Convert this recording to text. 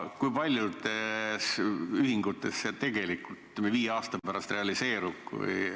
Kui paljudes ühingutes see tegelikult viie aasta pärast realiseerub?